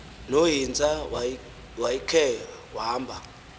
nohintsa wayckhe wamba